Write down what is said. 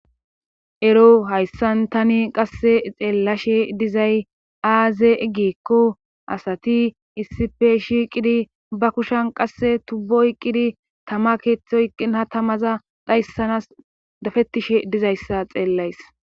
Ero hayssan tani qasse xeellashe dizay aaze egikko asati isipe shiiqidi ba kushan qasse tubbo oyqqidi tama keeththo yqqin ha tamaza dhayssanas dafettishe dizayssa xeellays.